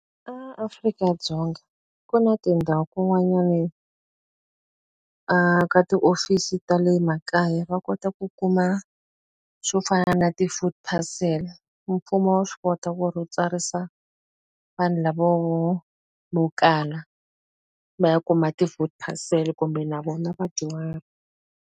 A Afrika-Dzonga ku na tindhawu kun'wani a ka tiofisi ta le makaya va kota ku kuma swo fana na ti-food parcel. Mfumo wa swi kota ku ri wu tsarisa vanhu lavaya vo va kala, va ya kuma ti-food parcel. Kumbe na vona vadyuhari.